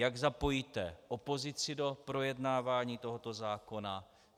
Jak zapojíte opozici do projednávání tohoto zákona?